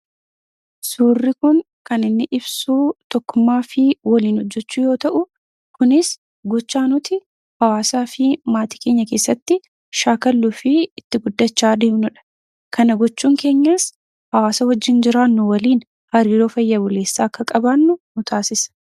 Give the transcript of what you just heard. Surri kun kan inni ibsuu tokkummaafi waliin hojechuu yoo ta'u, kunis gochaa nuti hawasaafi maatii keenyaa keessatti shakaluufi itti guddachaa addemnudha. Kana gochuun keenyaas hawasaa wwajiinnjiraanu waliif haariroo faayaa buleessaa akka qabanu nutasisa.